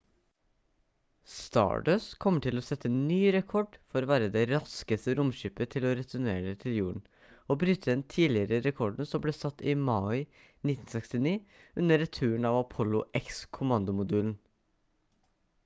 stardust kommer til å sette ny rekord for å være det raskeste romskipet til å returnere til jorden og bryte den tidligere rekorden som ble satt i mai 1969 under returen av apollo x-kommandomodulen